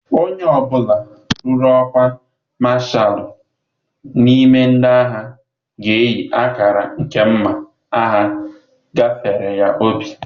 Onye ọ bụla ruru ọkwa Mashalụ n'ime ndị agha ga-eyi akara nke mma agha gafere ya obi.